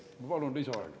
Ma palun lisaaega.